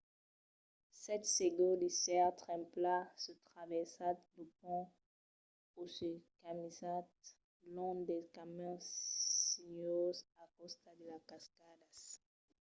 sètz segurs d’èsser trempats se traversatz lo pont o se caminatz long dels camins sinuoses al costat de las cascadas